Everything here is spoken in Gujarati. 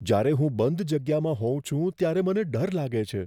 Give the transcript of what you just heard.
જ્યારે હું બંધ જગ્યામાં હોઉં છું ત્યારે મને ડર લાગે છે.